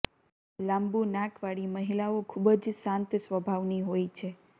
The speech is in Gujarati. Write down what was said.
લાબું નાક વાળી મહિલાઓ ખુબ જ શાંત સ્વભાવની હોય છે